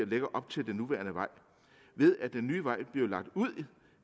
ligger op til den nuværende vej ved at den nye vej bliver lagt ud